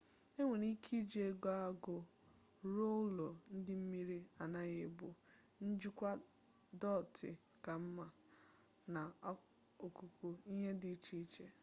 enwere ike iji ego agụ rụọ ụlọ ndị mmiri anaghi ebu njikwa dọtị ka mma na ọkụkụ ihe dị iche iche